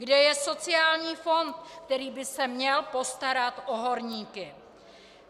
Kde je sociální fond, který by se měl postarat o horníky?